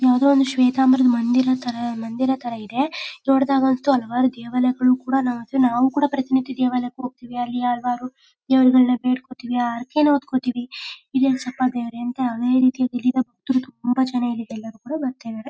ಯಾವ್ದೋ ಒಂದು ಶ್ವೇತಾಂಬರ ಮಂದಿರ ತರ ಮಂದಿರ ತರ ಇದೆ ನೋಡಿದಾಗ ಅಂತೂ ಹಲವಾರು ದೇವಾಲಯ್ಗಳು ಕೂಡ ನಾವು ಕೂಡ ಪ್ರತಿನಿತ್ಯ ದೇವಾಲಯಕ್ಕೆ ಹೋಗತೀವಿ ಅಲ್ಲಿ ಹಲವಾರು ದೇವರುಗಳ್ಳನ್ನ ಬೇಡ್ಕೋತೀವಿ ಹರಕೆನಾ ಹೊತ್ಕೋತೀವಿ ಈಡೇರಿಸಪ್ಪಾ ದೇವ್ರೇ ಅಂತ ತುಂಬಾ ಜನ ಇಲ್ಲಿಗೆ ಬರ್ತಾ ಇದಾರೆ